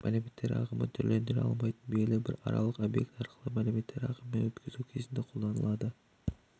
мәліметтер ағымын түрлендіре алмайтын белгілі бір аралық объект арқылы мәліметтер ағымын өткізу кезінде қолданылады